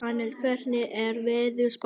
Annel, hvernig er veðurspáin?